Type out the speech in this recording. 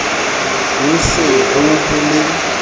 ho se ho ho le